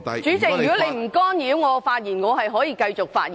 主席，如果你不干擾我發言，我會繼續發言。